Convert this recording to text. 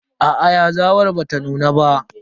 Aa yazawar bata nuna ba.